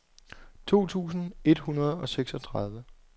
to tusind et hundrede og seksogtredive